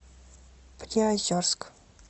приозерск